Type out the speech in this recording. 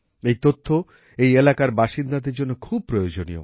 এই তথ্য এই এলাকার বাসিন্দাদের জন্য খুব প্রয়োজনীয়